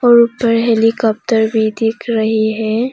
और ऊपर हेलीकॉप्टर भी दिख रही है।